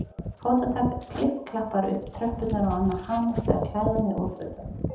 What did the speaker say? Fótatak klipp-klappar upp tröppurnar og Anna hamast við að klæða mig úr fötunum.